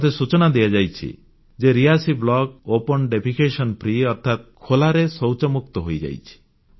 ମୋତେ ସୂଚନା ଦିଆଯାଇଛି ଯେ ରିୟାସୀ ବ୍ଲକ ଙକ୍ଟ୍ରରଦ୍ଭ ଊରଲବମବଗ୍ଧସକ୍ଟଦ୍ଭ ୠକ୍ସରର ଅର୍ଥାତ୍ ଖୋଲାରେ ଶୌଚମୁକ୍ତ ହୋଇଯାଇଛି